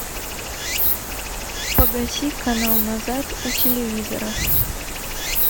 погаси канал назад у телевизора